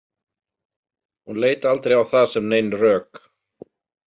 Hún leit aldrei á það sem nein rök.